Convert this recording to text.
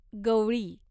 गवळी